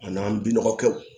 A n'an binɔgɔ kɛw